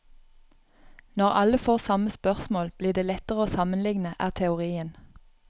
Når alle får samme spørsmål blir det lettere å sammenligne, er teorien.